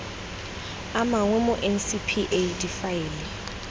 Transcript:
a mangwe mo ncpa difaele